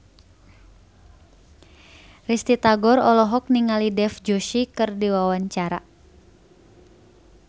Risty Tagor olohok ningali Dev Joshi keur diwawancara